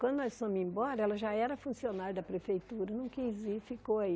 Quando nós fomos embora, ela já era funcionária da prefeitura, não quis ir, ficou aí.